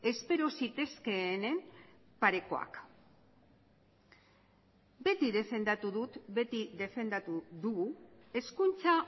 espero zitezkeenen parekoak beti defendatu dugu hezkuntza